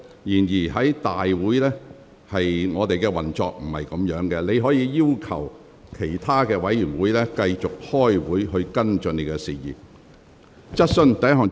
然而，立法會會議並非適當的處理場合，你可要求其他委員會再舉行會議，以跟進你提及的事宜。